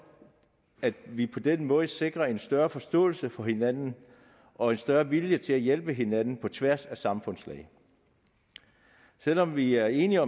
at vi på den måde sikrer både en større forståelse for hinanden og en større vilje til at hjælpe hinanden på tværs af samfundslag selv om vi er enige